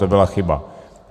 To byla chyba.